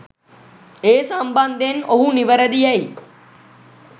ඒ සම්බන්ධයෙන් ඔහු නිවැරදි යැයි